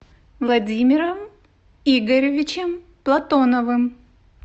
владимиром игоревичем платоновым